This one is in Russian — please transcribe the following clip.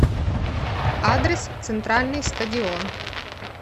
адрес центральный стадион